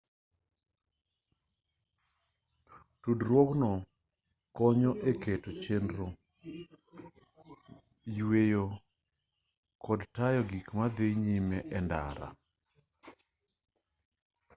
tudruogno konyo e keto chenro chueyo to kod tayo gik madhi nyime e ndara